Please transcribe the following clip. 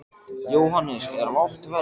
Jóhannes: Er lágt verð?